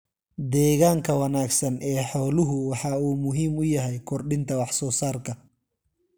Deegaanka wanaagsan ee xooluhu waxa uu muhiim u yahay kordhinta wax soo saarka.